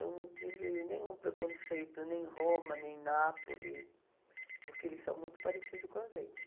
Eu não tive nenhum preconceito, nem em Roma, nem em Nápoles, porque eles são muito parecidos com a gente.